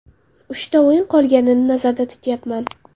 Uchta o‘yin qolganini nazarda tutyapman.